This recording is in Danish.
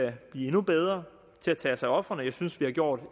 blive endnu bedre til at tage os af ofrene jeg synes vi har gjort